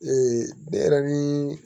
ne yɛrɛ ni